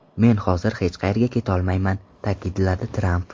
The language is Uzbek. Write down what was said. Men hozir hech qayerga ketolmayman”, ta’kidladi Tramp.